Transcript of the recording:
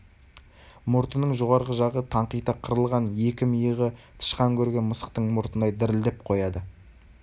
мұртының жоғарғы жағы таңқита қырылған екі миығы тышқан көрген мысықтың мұртындай дірілдеп қояды